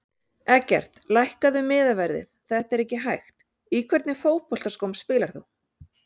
Eggert lækkaðu miðaverðið þetta er ekki hægt Í hvernig fótboltaskóm spilar þú?